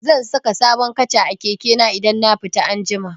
Zan saka sabon kaca a keke na idan na fita anjima.